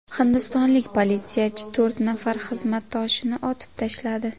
Hindistonlik politsiyachi to‘rt nafar xizmatdoshini otib tashladi.